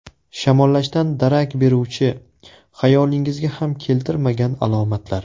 Shamollashdan darak beruvchi, xayolingizga ham keltirmagan alomatlar.